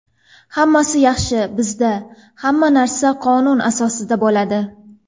Hammasi yaxshi, bizda hamma narsa qonun asosida bo‘ladi”.